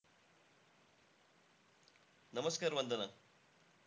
नमस्कार वंदना!